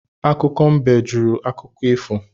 Akụkọ mbe jụrụ akụkọ ifo